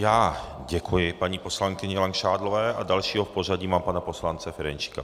Já děkuji paní poslankyni Langšádlové a dalšího v pořadí mám pana poslance Ferjenčíka.